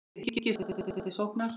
Þið hyggist blása til sóknar?